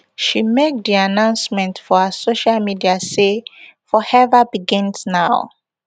she make di announcement for her social media say forever begins now